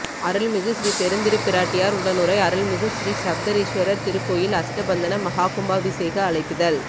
அருள்மிகு ஸ்ரீபெருந்திருப்பிராட்டியார் உடனுறை அருள்மிகு ஸ்ரீசப்தரிஷீஸ்வரர் திருக்கோயில் அஷ்டபந்தன மஹாகும்பாபிஷேக அழைப்பிதழ்